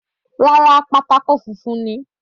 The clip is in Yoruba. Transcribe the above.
Rárá, pátákó funfun ni.